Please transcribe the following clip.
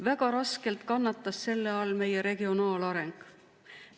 Väga raskelt kannatas selle all meie regionaalareng.